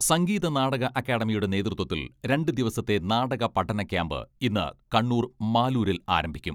സംഗീത നാടക അക്കാഡമിയുടെ നേതൃത്വത്തിൽ രണ്ട് ദിവസത്തെ നാടക പഠന ക്യാമ്പ് ഇന്ന് കണ്ണൂർ മാലൂരിൽ ആരംഭിക്കും.